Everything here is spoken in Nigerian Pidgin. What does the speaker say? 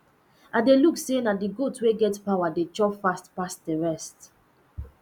i de look say na the goat wey get power dey chop fast pass the rest